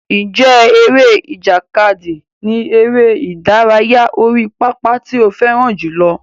Ǹjẹ́ eré ìjàkadì ni eré ìdárayá orí pápá tí ó fẹ́ràn jùlọ?